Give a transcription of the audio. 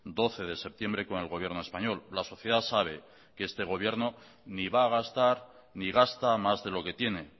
doce de septiembre con el gobierno español la sociedad sabe que este gobierno ni va a gastar ni gasta más de lo que tiene